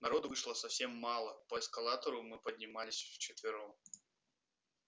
народу вышло совсем мало по эскалатору мы поднимались вчетвером